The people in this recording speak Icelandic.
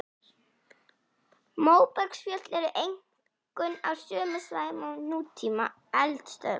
Móbergsfjöll eru einkum á sömu svæðum og nútíma eldstöðvar.